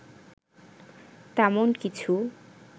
তেমন কিছু